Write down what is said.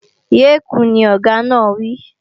Yé kùún, ni Ọ̀gá náà wí!